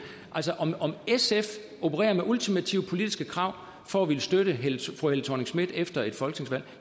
altså om sf opererer med ultimative politiske krav for at ville støtte fru helle thorning schmidt efter et folketingsvalg